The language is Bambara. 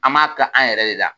An b'a kɛ an yɛrɛ de la